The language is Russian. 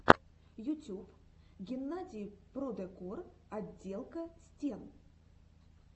ютюб геннадий продекор отделка стен